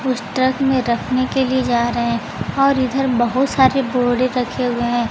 पुस्तक में रखने के लिए जा रहे हैं और इधर बहुत सारे बोरे रखे हुए हैं।